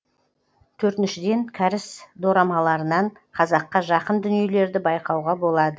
төртіншіден кәріс дорамаларынан қазаққа жақын дүниелерді байқауға болады